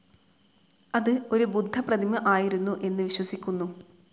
അത് ഒരു ബുദ്ധ പ്രതിമ ആയിരുന്നു എന്ന് വിശ്വസിക്കുന്നു.